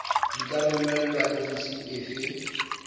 di ka romelwa ofising efe